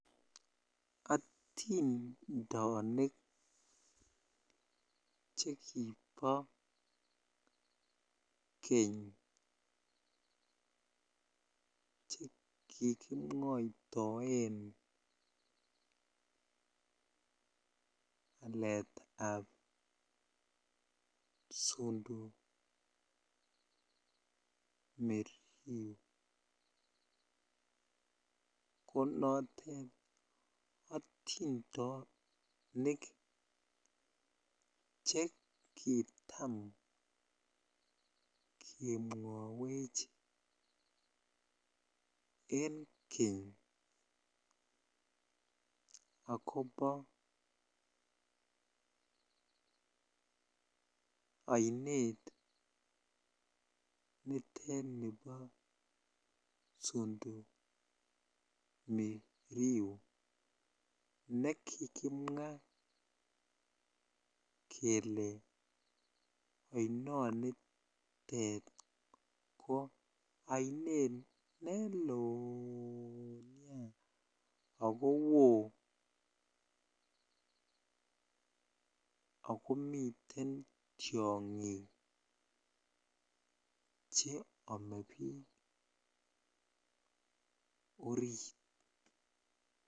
Otindonik chekibo keny chekikimwoitoen aleetab Sondu Miriu ko notet otindonik che kitam kemwowech en keny akobo oinet nitet nibo Sondu Miriu nekikimwa kelee oinonitet ko oinet neloo nea akowo ak komiten tiongik che omee biik oriit.